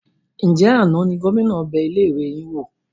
Ńjẹ̀ àná ni Gómìnà bẹ ilé ìwé yín wò?